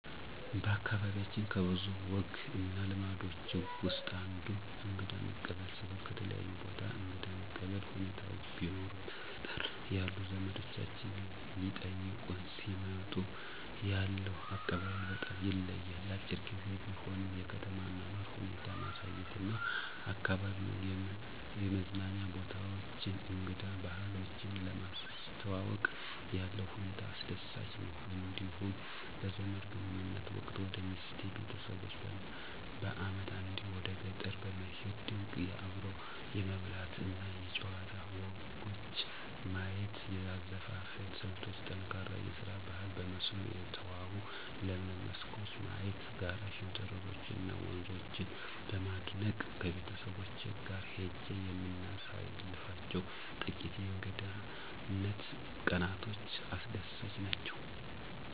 በአካባቢያችን ከብዙ ወግ እና ልማዶች ውስጥ አንዱ እንግዳ መቀበል ሲሆን ከተለያየ ቦታ እንግዳ መቀበል ሁኔታዎች ቢኖሩም በገጠር ያሉ ዘመዶቻችን ሊጠይቁን ሲመጡ ያለው አቀባበል በጣም ይለያል። አጭር ግዜ ቢሆንም የከተማ አኗኗር ሁኔታ ማሳየት እና አካባቢዉን የመዝናኛ ቦታዎችን እንግዳ ባህሎችን ለማስተዋወቅ ያለው ሁኔታ አስደሳች ነው። እንዲሁም በዘመድ ግንኙነት ወቅት ወደ ሚስቴ ቤተሰቦች በአመት አንዴ ወደ ገጠር በመሄድ ድንቅ አብሮ የመብላት እና የጨዋታ ወጎች ማየት; የአዘፋፈን ስልቶች: ጠንካራ የስራ ባህል; በመስኖ የተዋቡ ለምለም መስኮች ማየት; ጋራ ሸንተረሮች እና ወንዞችን በማድነቅ ከቤተሰቦቼ ጋር ሄጄ የምናሳልፋቸው ጥቂት የእንግድነት ቀናቶች አስደሳች ናቸው።